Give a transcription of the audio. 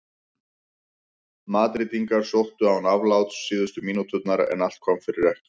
Madrídingar sóttu án afláts síðustu mínúturnar en allt kom fyrir ekki.